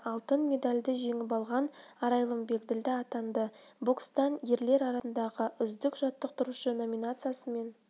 әлем чемпионатында алтын медальді жеңіп алған арайлым бегділда атанды бокстан ерлер арасындағы үздік жаттықтырушы номинациясымен